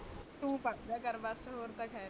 ਤੂੰ ਪੜ ਲੇਯਾ ਕਰ ਬਸ ਔਰ ਤਾ ਖੇਰਾ